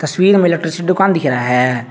Field में electrician का दुकान दिख रहा है।